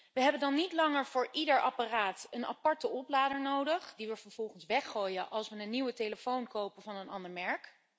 We hebben dan niet langer voor ieder apparaat een aparte oplader nodig, die we vervolgens weggooien als we een nieuwe telefoon kopen van een ander merk.